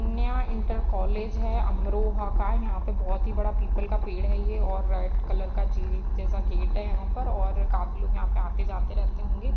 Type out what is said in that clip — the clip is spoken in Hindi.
कन्या इंटर कॉलेज है अमरोहा का| यहाँ पे (पर) बहोत (बोहोत) ही बड़ा पीपल का पेड़ है ये और रेड कलर का जेल जैसा गेट है यहाँ पर और काफी लोग यहाँ पे (पर) जाते रहते होंगे।